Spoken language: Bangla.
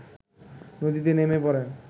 নদীতে নেমে পড়েন